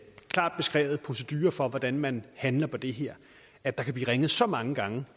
klart beskrevet procedure for hvordan man handler på det her at der kan blive ringet så mange gange